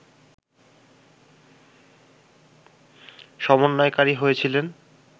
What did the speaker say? সমন্বয়কারী হয়েছিলেন